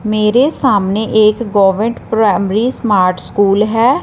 मेरे सामने एक गवर्नमेंट प्राइमरी स्मार्ट स्कूल है।